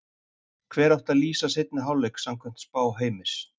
Hver átti að lýsa seinni hálfleik samkvæmt spá Heimis?